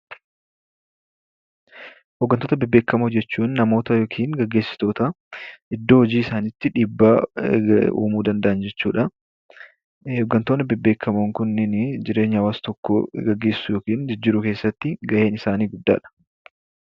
Hoggantoota bebbeekamoo jechuun namoota iddoo hojii isaaniitti dhiibbaa uumuu danda'an jechuu dha. Hoggantoota bebbeekamoon kunneen jireenya hawwaasa tokkoo gaggeessuu yookiin jijjiiruu keessatti ga'een isaanii guddaadha.